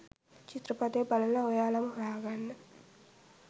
චිත්‍රපටිය බලලා ඔයාලම හොයාගන්න